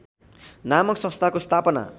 नामक संस्थाको स्थापना